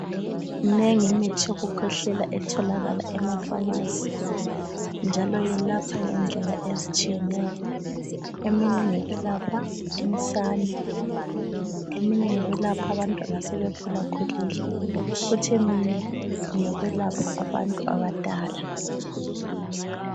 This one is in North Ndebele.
Minengi imithi yokukhwehlela etholakala emafamasi, njalo yelapha ngendlela ezitshiyeneyo. Eminye ingeyokwelapha insane, eminye ngeyokwelapha abantwana asebekhulakhulile, kuthi eminye ngeyokwelapha abantu abadala.